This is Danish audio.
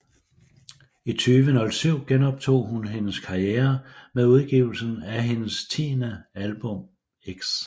I 2007 genoptog hun hendes karriere med udgivelsen af hendes tiende album X